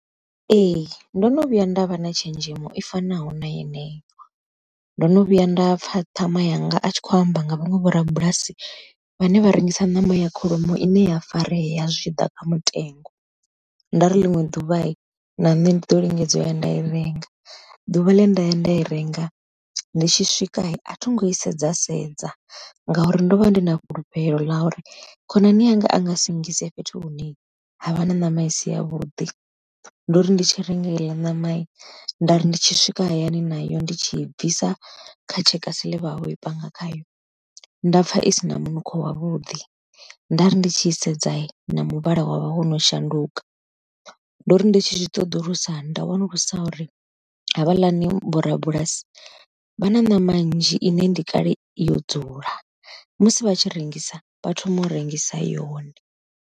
Ee ndo no vhuya nda vha na tshenzhemo i fanaho na heneyo, ndo no vhuya nda pfha ṱhama yanga a tshi khou amba nga vhaṅwe vho rabulasi vhane vha rengisa ṋama ya kholomo ine ya farea zwi tshi ḓa kha mutengo. Nda ri ḽiṅwe ḓuvha na nṋe ndi ḓo lingedza nda ya nda i renga, ḓuvha ḽe nda ya nda i renga ndi tshi swika a thi ngo i sedza sedza ngauri ndo vha ndi na fhulufhelo ḽa uri khonani yanga a nga singise fhethu hune havha na ṋama isi ya vhuḓi. Ndo ri ndi tshi renga heiḽa ṋama nda ri ndi tshi swika hayani nayo ndi tshi bvisa kha tshekasi ḽe vhavho i panga khayo, nda pfha isina munukho wavhuḓi, nda ri ndi tshi sedza na muvhala wavha wo no shanduka, ndo ri ndi tshi zwi ṱoḓulusa nda wanulusa uri havhaḽani vho rabulasi vha na ṋama nzhi ine ndi kale yo dzula musi vha tshi rengisa vha thoma u rengisa yone.